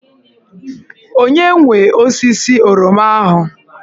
Onye nwe osisi oroma ahụ?